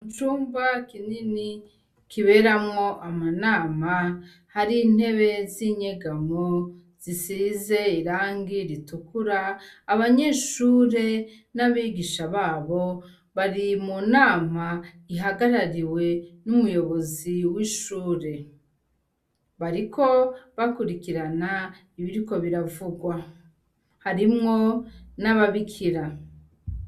Micumba kinini kiberamwo amanama hari intebe z'inyegamwo zisize irangi ritukura abanyeshure n'abigisha babo bari mu nama ihagarariwe n'umuyobozi w'ishure barik o bakurikirana ibiriko biravugwa harimwo n'ababikira.